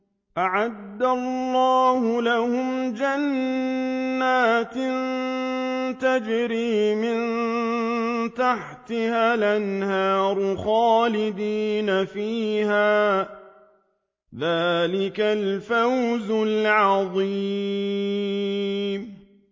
أَعَدَّ اللَّهُ لَهُمْ جَنَّاتٍ تَجْرِي مِن تَحْتِهَا الْأَنْهَارُ خَالِدِينَ فِيهَا ۚ ذَٰلِكَ الْفَوْزُ الْعَظِيمُ